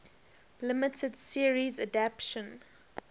limited series adaptation